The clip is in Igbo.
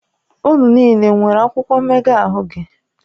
Unu niile nwere akwụkwọ mmega ahụ gị?